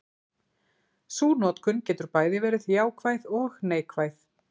Sú notkun getur bæði verið jákvæð og neikvæð.